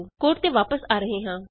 code ਤੇ ਵਾਪਸ ਆ ਰਹੇ ਹਾਂ